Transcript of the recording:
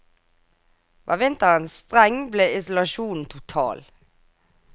Var vinteren streng ble isolasjonen total.